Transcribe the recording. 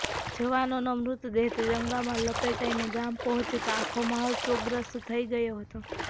જવાનનો મૃતદેહ ત્રિરંગામાં લપેટાઈને ગામ પહોંચ્યો તો આખો માહોલ શોકગ્રસ્ત થઈ ગયો હતો